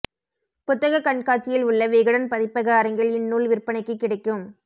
புத்தக கண்காட்சியில் உள்ள விகடன் பதிப்பக அரங்கில் இந்நூல் விற்பனைக்கு கிடைக்கும்